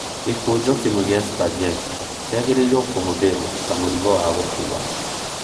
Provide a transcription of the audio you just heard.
Gĩkũnjo kĩmwe kĩa spaghetti kĩagĩrĩire kũhũthĩrũo ta mũrigo wa gũkuua